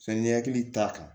Sanni hakili t'a kan